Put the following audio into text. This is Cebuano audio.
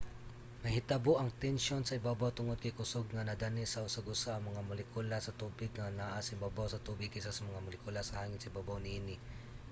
mahitabo ang tensyon sa ibabaw tungod kay kusog nga nadani sa usag-usa ang mga molekula sa tubig nga naa sa ibabaw sa tubig kaysa sa mga molekula sa hangin sa ibabaw niini